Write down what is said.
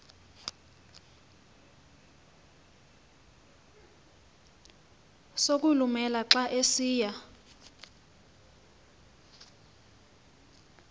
sokulumela xa esiya